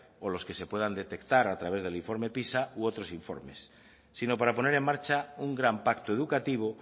o los que se puedan detectar a través del informe pisa u otros informes sino para poner en marcha un gran pacto educativo